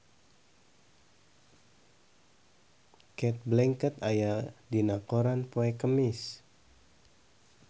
Cate Blanchett aya dina koran poe Kemis